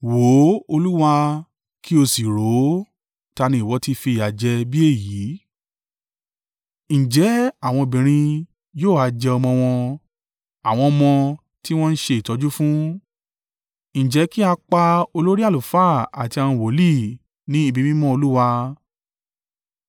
“Wò ó, Olúwa, kí o sì rò ó. Ta ni ìwọ ti fìyà jẹ bí èyí. Ǹjẹ́ àwọn obìnrin yóò ha jẹ ọmọ wọn, àwọn ọmọ tí wọn ń ṣe ìtọ́jú fún? Ǹjẹ́ kí a pa olórí àlùfáà àti àwọn wòlíì ní ibi mímọ́ Olúwa?